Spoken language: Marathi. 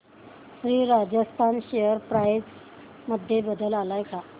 श्री राजस्थान शेअर प्राइस मध्ये बदल आलाय का